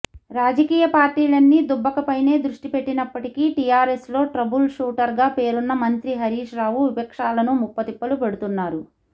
రాజకీయ పార్టీలన్నీ దుబ్బకపైనే దృష్టి పెట్టినప్పటికీ టిఆర్ఎస్లో ట్రబుల్ షూటర్గా పేరున్న మంత్రి హరీశ్ రావు విపక్షాలను ముప్పుతుప్పలు పెడుతున్నారు